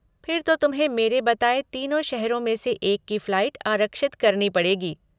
फिर तो तुम्हें मेरे बताए तीनों शहरों में से एक की फ़्लाइट आरक्षित करनी पड़ेगी।